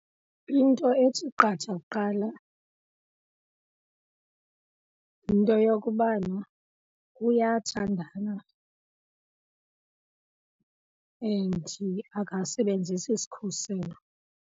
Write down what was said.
Into ethi qatha kuqala yinto yokubana uyathandana and akazisebenzisi sikhuselo.